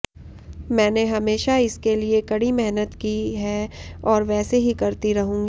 मैंने हमेशा इसके लिए कड़ी मेहनत की है और वैसे ही करती रहूंगी